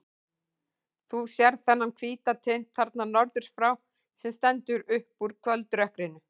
Þú sérð þennan hvíta tind þarna norður frá, sem stendur upp úr kvöldrökkrinu.